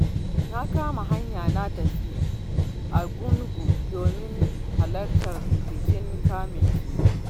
Na kama hanyar na tafi Argungu domin halartar bikin kamun kifi.